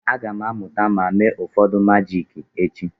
Aga m amụta ma mee ụfọdụ majiki echi.